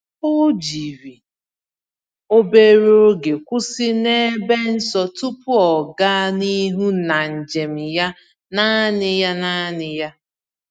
O jiri obere oge kwụsị n’ebe nsọ tupu ọ gaa n’ihu n'njem ya naanị ya naanị ya.